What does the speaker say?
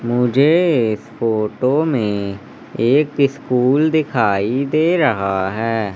मुझे इस फोटो में एक स्कूल दिखाई दे रहा है।